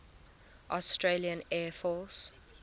australian air force